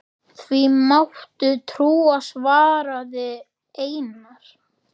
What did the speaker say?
Því máttu trúa, svaraði Einar.